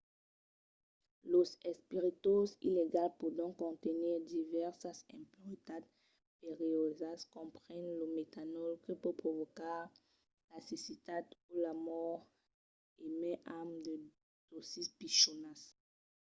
los espiritoses illegals pòdon contenir divèrsas impuretats perilhosas comprenent lo metanòl que pòt provocar la cecitat o la mòrt e mai amb de dòsis pichonas